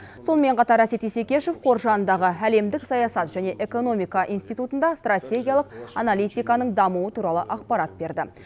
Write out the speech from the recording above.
сонымен қатар әсет исекешев қор жанындағы әлемдік саясат және экономика институтында стратегиялық аналитиканың дамуы туралы ақпарат берді